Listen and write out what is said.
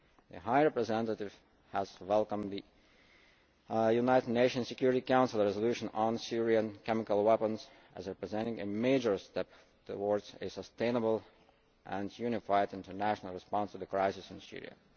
The High Representative has welcomed the United Nations Security Council resolution on Syrian chemical weapons as representing a major step towards a sustainable and unified international response to the crisis in Syria.